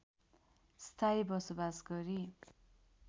स्थायी बसोबास गरी